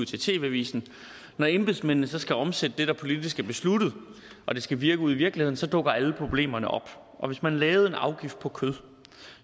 til tv avisen når embedsmændene så skal omsætte det der politisk er besluttet og det skal virke ude i virkeligheden dukker alle problemerne op og hvis man lavede en afgift på kød